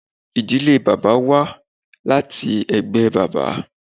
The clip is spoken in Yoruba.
Ìdílé bàbá wá láti ẹgbẹ bàbá.